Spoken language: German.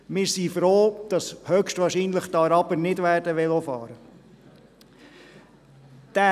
Wir sind froh, dass die Araber höchstwahrscheinlich nicht Velo fahren werden.